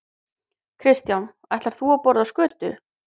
Kristján: Ætlar þú að borða skötu?